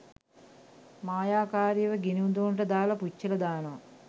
මායාකාරියව ගිණි උදුනට දාලා පුච්චලා දානවා.